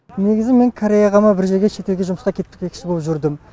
негізі мен кореяға ма бір жерге шет елге жұмысқа кетпекші болып жүрдім